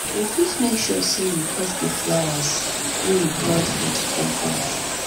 we fit make sure sey we dey cut di flowers wey we plant for di compound